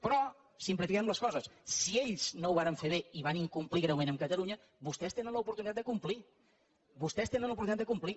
però simplifiquem les coses si ells no ho varen fer bé i van incomplir greument amb catalunya vostès tenen l’oportunitat de complir vostès tenen l’oportunitat de complir